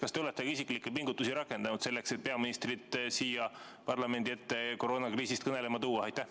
Kas te olete ka isiklikke pingutusi rakendanud selleks, et peaministrit siia parlamendi ette koroonakriisist kõnelema tuua?